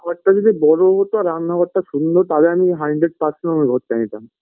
ঘরটা যদি বড়ো হতো রান্নাঘরটা সুন্দর তাহলে আমি hundred percent ওই ঘরটা নিতাম